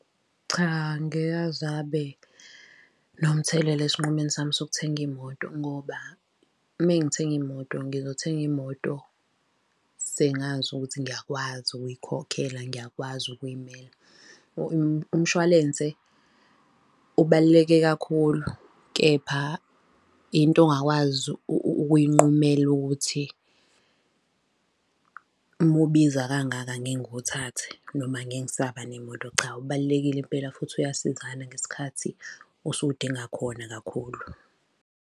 Cha, ngeke azabe nomthelela esinqumeni sami sokuthenga imoto ngoba mengithenga imoto, ngizothenga imoto sengazi ukuthi ngiyakwazi ukuyikhokhela, ngiyakwazi ukuyimela. Umshwalense ubaluleke kakhulu, kepha into ongakwazi ukuyinqumela ukuthi, uma ubiza kangaka ngeke ngiwuthathe, noma ngeke ngisaba nemoto cha, ubalulekile impela futhi uyasizana ngesikhathi osuke udinga khona kakhulu.